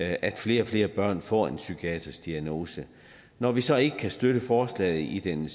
at flere og flere børn får en psykiatrisk diagnose når vi så ikke kan støtte forslaget i den